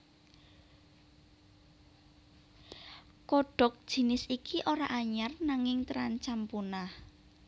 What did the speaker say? Kodhok jinis iki ora anyar nanging terancam punah